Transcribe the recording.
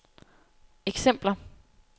eksempler